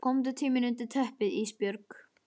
Komdu til mín undir teppið Ísbjörg.